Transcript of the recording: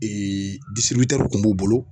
kun b'u bolo